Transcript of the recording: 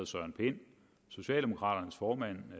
søren pind socialdemokraternes formand